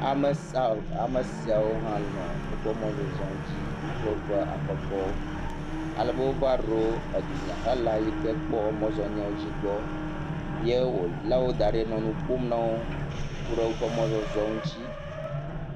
Ame sawo, ame siawo hã nɔ woƒe mɔzɔzɔ dzi. Wo kple woƒe aƒekɔwo. Alebe wova ɖo edunyahela yi ke kpɔɔ mɔzɔnyawo dzi gbɔ. Ye wòlé wo da ɖi nɔ nu ƒom na wo ku ɖe woƒe mɔzɔzɔ ŋutsi.